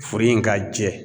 Furu in ka jɛ